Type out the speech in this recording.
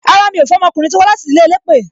Rárá, mi ò fẹ́ ọmọkùnrin tó wá láti ìdílé elépè